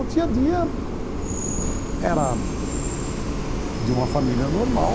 O dia-a-dia era de uma família normal.